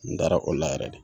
N taara o la yɛrɛ de.